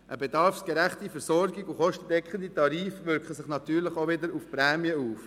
Eine bedarfsgerechte Versorgung und kostendeckende Tarife wirken sich natürlich auch wieder auf die Prämie aus.